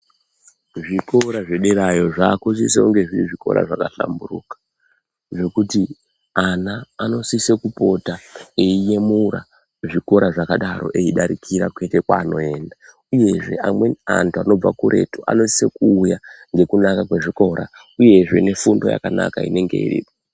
Zvikora zvederayo zvakusiso kunge zviri zvikora zvakahlamburuka nokuti ana anosiso kupota eiyemura zvikora zvakadaro eidarikira kwaanoenda. Uyezve amweni antu anobva kuretu anosisa kuuya ngekunaka kwezvikora, uyezve nefundo yakanaka inenge iripo.